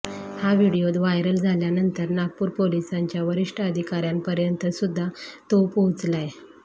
हा video viral झाल्यानंतर नागपूर पोलिसांच्या वरिष्ठ अधिकाऱ्यांपर्यंतसुद्धा तो पोहोचलाय